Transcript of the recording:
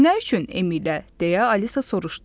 Nə üçün M ilə, deyə Alisa soruşdu.